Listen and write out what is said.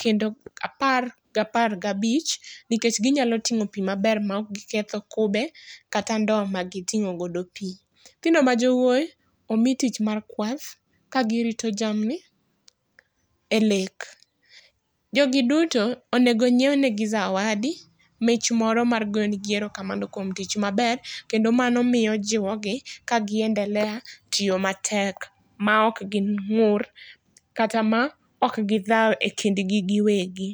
kendo apar gi apar ga bich nikech gi nyalo ting'o pi maber ma ok gi ketho kube kata ndoo ma gi ting'o godo pi.nyithindo ma jowuoyi omi tich mar kwath ka gi rito jamni e lake. Jo gi duto onego omi zawadi mich moro mar go ne gi erokamano kuom tich maber kendo mano jiwo gi ka gi endelea tiyo matek ma ok gi ng'ur kata ma ok gi dhau e kind gi gi wegi.